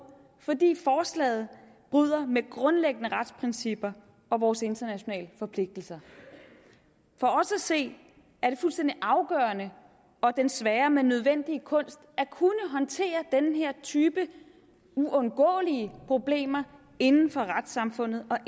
fordi forslaget bryder med grundlæggende retsprincipper og vores internationale forpligtelser for os at se er det fuldstændig afgørende og den svære men nødvendige kunst at kunne håndtere den her type uundgåelige problemer inden for retssamfundet og